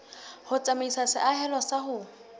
ho tsamaisa seahelo sa ho